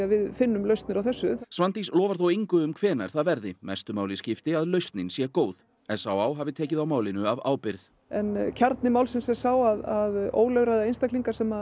við finnum lausnir á þessu Svandís lofar þó engu um hvenær það verði mestu máli skipti að lausnin sé góð s á á hafi tekið á málinu af ábyrgð en kjarni málsins er sá að ólögráða einstaklingar sem